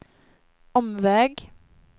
omväg